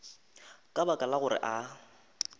ka baka la gore a